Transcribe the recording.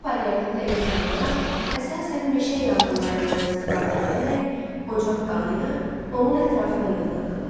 Alt paleolitdə insanlar əsasən meşə yanğınlarından istifadə edərək ocaq qalayırdılar, onun ətrafına yığılırdılar.